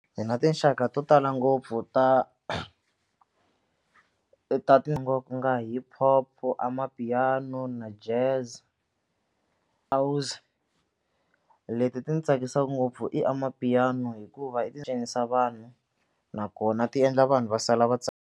Hi na tinxaka to tala ngopfu ta ta ku nga hip-hop, amapiano na jazz leti ti ni tsakisaka ngopfu i amapiano hikuva i ti cinisa vanhu nakona tiendla vanhu va sala va .